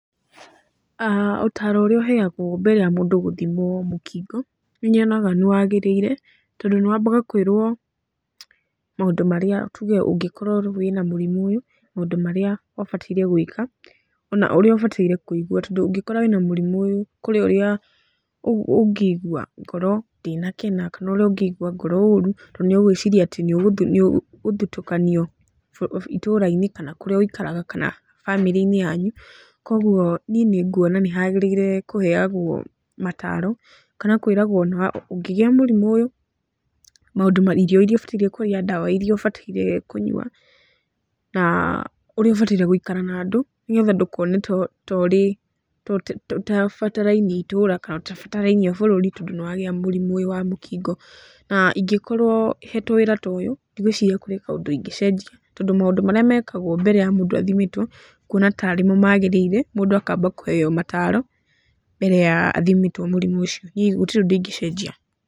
aah Ũtaro ũrĩa ũheagwo mbere ya mũndũ gũthimwo mũkingo, nĩnyonaga nĩwagĩrĩire, tondũ nĩ wambaga kũĩrwo maũndũ marĩa tuge ũngĩkorwo wĩ na mũrimũ ũyũ, maũndũ marĩa ũbataire gũĩka, ona ũrĩa ũbataire kũigua, tondũ ũngĩkora wĩ na mũrimũ ũyũ, kũrĩ ũrĩa ũngĩigua ngoro ndĩnakena, kana ũrĩa ũngĩigua ngoro ũru tondũ nĩ ũgũĩciria nĩ ũgũthitũkanio itũũra-inĩ kana kũrĩa ũikaraga kana bamĩrĩ-inĩ yanyu. Koguo niĩ nĩ nguona nĩ hagĩrĩire kũheagwo mataaro kana kũĩragwo na ũngĩgĩa mũrimũ ũyũ, irio irĩa ũbataire kũrĩa, ndawa irĩa ũbataire kũnyua na ũrĩa ũbataire gũikara na andũ, nĩgetha ndũkone torĩ, ta ũtabatarainie itũra, ta ũtabatarainie bũrũri tondũ nĩwagĩa mũrimũ ũyũ wa mũkingo. Na ingĩkorwo hetwo wĩra toyũ, ndigwĩciria kwĩ kaũndũ ingĩcenjia, tondũ maũndũ marĩa mekagwo mbere ya mũndũ athimĩtwo, nguona tarĩ mo magĩrĩire, mũndũ akamba kũheyo mataaro mbere ya athimĩtwo mũrimũ ũcio, gũtirĩ ũndũ ingĩcenjia.